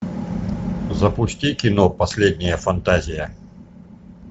запусти кино последняя фантазия